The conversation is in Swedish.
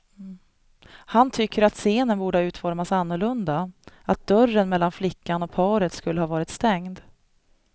Han tycker att scenen borde ha utformats annorlunda, att dörren mellan flickan och paret skulle ha varit stängd.